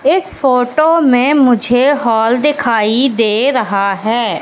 इस फोटो में मुझे हॉल दिखाई दे रहा है।